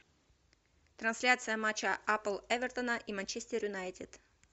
трансляция матча апл эвертона и манчестер юнайтед